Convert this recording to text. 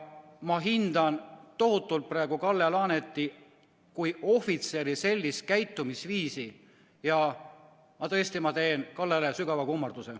Ma hindan tohutult Kalle Laaneti kui ohvitseri sellist käitumisviisi ja tõesti teen Kallele sügava kummarduse.